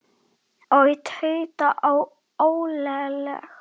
Ó, tauta ég óróleg.